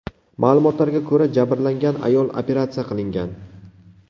Ma’lumotlarga ko‘ra, jabrlangan ayol operatsiya qilingan.